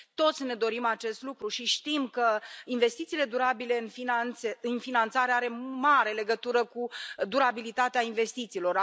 Toți ne dorim acest lucru și știm că investițiile durabile în finanțare au o mare legătură cu durabilitatea investițiilor.